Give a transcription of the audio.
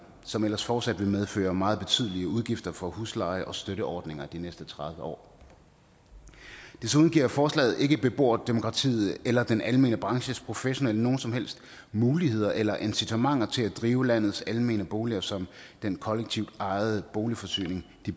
som ellers fortsat vil medføre meget betydelige udgifter for husleje og støtteordninger de næste tredive år desuden giver forslaget ikke beboerdemokratiet eller den almene branches professionelle nogen som helst muligheder eller incitamenter til at drive landets almene boliger som den kollektivt ejede boligforsyning